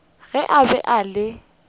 ge a be a le